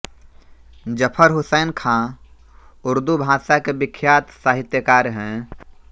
ज़फ़र हुसैन ख़ाँ उर्दू भाषा के विख्यात साहित्यकार हैं